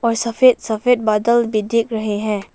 सफेद सफेद बादल भी दिख रहे हैं।